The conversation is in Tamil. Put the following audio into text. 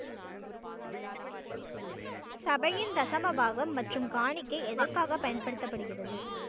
சபையின் தசமபாகம் மற்றும் காணிக்கை எதற்காக பயன்படுத்தப்படுகிறது